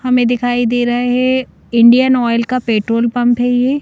हमें दिखाई दे रहा है इंडियन ऑयल का पेट्रोल पंप है ये।